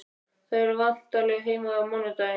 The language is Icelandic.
Þau eru væntanleg heim á mánudag.